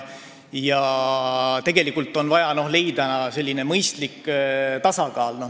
Tegelikult on vaja leida mõistlik tasakaal.